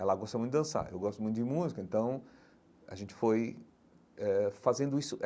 Ela gosta muito de dançar, eu gosto muito de música, então a gente foi eh fazendo isso.